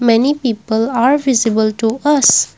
many people are visible to us.